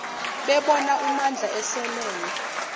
bebona umandla eselele